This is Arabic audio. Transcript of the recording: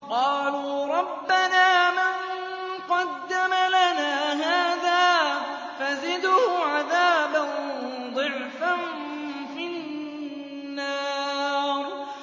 قَالُوا رَبَّنَا مَن قَدَّمَ لَنَا هَٰذَا فَزِدْهُ عَذَابًا ضِعْفًا فِي النَّارِ